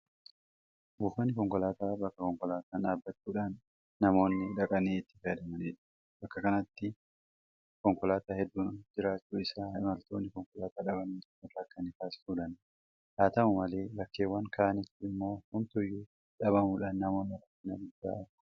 Buufanni konkolaataa bakka konkolaataan dhaabbachuudhaan namoonni dhaqanii itti fayyadamanidha. Bakka kanatti konkolaataan hedduun jiraachuun isaa imaltoonni konkolaataa dhabanii akka hinrakkanee taasisuu danda'a. Haata'u malee bakkeewwan kaanitti immoo homtuuyyuu dhabamuudhaan namoonni rakkina guddaa argu.